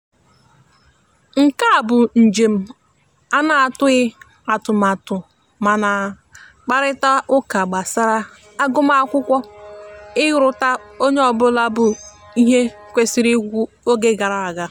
nkea bụ njem ana atụghi atụtmatụmana kparịta uka gbasara agụma akwụkwo iruta onye ọbụla bụ ihe ekwesiri ikwu oge gara aga